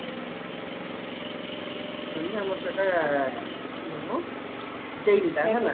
ତେଣୁ ଆମର ସେଟା ଇଏ ମ ଟା ହେଲା